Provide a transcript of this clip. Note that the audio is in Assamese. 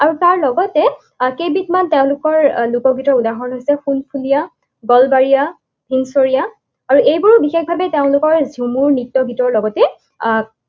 আৰু তাৰ লগতে কেইবিধমান তেওঁলোকৰ লোকগীতৰ উদাহৰণ হৈছে নলবাৰীয়া, সিংসৰীয়া আৰু এইবোৰ বিশেষভাৱে তেওঁলোকৰ ঝুমুৰ নৃত্য গীতৰ লগতে আহ